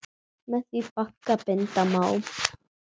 Með því bagga binda má.